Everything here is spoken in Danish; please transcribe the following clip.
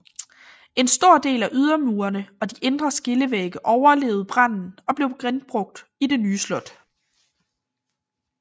En stor del af ydermurene og de indre skillevægge overlevede branden og blev genbrugt i det nye slot